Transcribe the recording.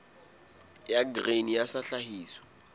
ya grain sa ya tlhahiso